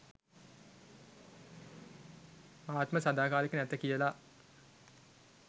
ආත්ම සදාකාලික නැත කියල